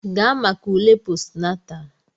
Gaa maka ule postnatal!